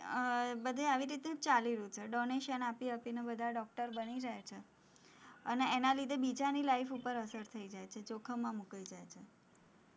આહ બધે આવી રીતે જ ચાલી રહ્યું છે, donation આપી આપીને બધા doctor બની જાય છે, અને એના લીધે બીજાની life ઉપર અસર થઇ જાય છે, જોખમમાં મુકાય જાય છે,